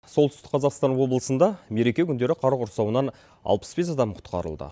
солтүстік қазақстан облысында мереке күндері қар құрсауынан алпыс бес адам құтқарылды